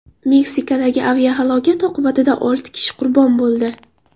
Meksikadagi aviahalokat oqibatida olti kishi qurbon bo‘ldi.